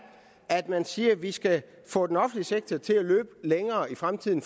at man siger at vi skal få den offentlige sektor til at løbe længere i fremtiden